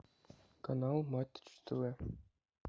канал матч тв